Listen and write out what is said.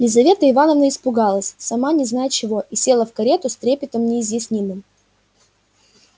лизавета ивановна испугалась сама не зная чего и села в карету с трепетом неизъяснимым